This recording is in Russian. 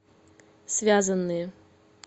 связанные